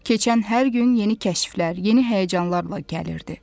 Keçən hər gün yeni kəşflər, yeni həyəcanlarla gəlirdi.